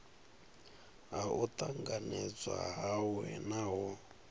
ha u tanganedzwa hawe naho